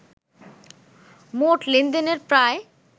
মোট লেনদেনের প্রায়